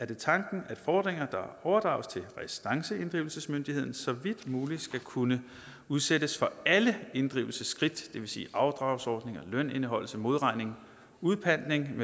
det tanken at fordringer der overdrages til restanceinddrivelsesmyndigheden så vidt muligt skal kunne udsættes for alle inddrivelsesskridt det vil sige afdragsordninger lønindeholdelse modregning udpantning